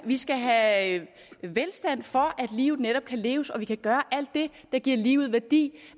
vi skal have velstand for at livet netop kan leves og vi kan gøre alt det der giver livet værdi